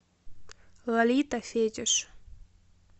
лолита фетиш